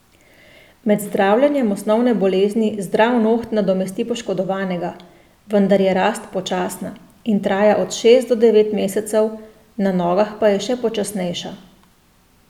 Med zdravljenjem osnovne bolezni zdrav noht nadomesti poškodovanega, vendar je rast počasna in traja od šest do devet mesecev, na nogah pa je še počasnejša.